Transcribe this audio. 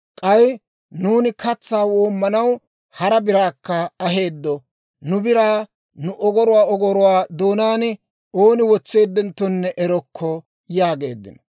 K'ay nuuni katsaa woomanaw hara biraakka aheeddo. Nu biraa nu ogoruwaa ogoruwaa doonaan ooni wotseeddenttonne erokko» yaageeddino.